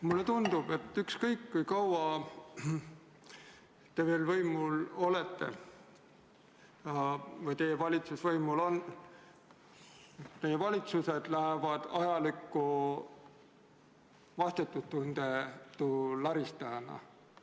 Mulle tundub, et ükskõik kui kaua te veel võimul olete või teie valitsus võimul on, teie valitsused lähevad ajalukku vastutustundetu laristajana.